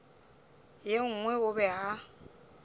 ye nngwe o be a